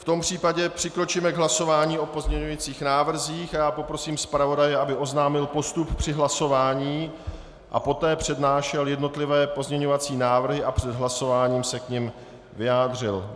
V tom případě přikročíme k hlasování o pozměňovacích návrzích a já poprosím zpravodaje, aby oznámil postup při hlasování a poté přednášel jednotlivé pozměňovací návrhy a před hlasováním se k nim vyjádřil.